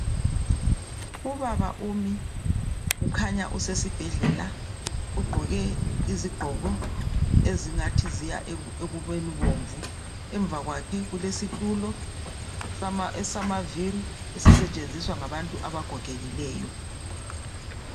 Ubaba umi ukhanya usesibhedlela ugqoke izigqoko ezingathi ziya ekubeni bomvu ngemva kwakhe kulesitulo esamaviri esisetshenziswa ngabantu abagogekileyo